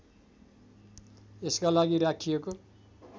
यसका लागि राखिएको